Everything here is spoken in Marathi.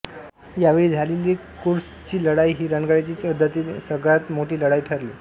यावेळी झालेली कुर्स्कची लढाई ही रणगाड्यांची युद्धातील सगळ्यात मोठी लढाई ठरली